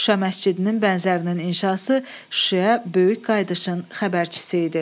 Şuşa məscidinin bənzərinin inşası Şuşaya böyük qayıdışın xəbərçisi idi.